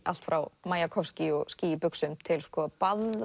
allt frá Majakovskí og ský í buxum til